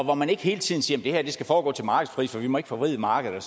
hvor man ikke hele tiden siger det her skal foregå til markedspris for vi ikke må forvride markedet og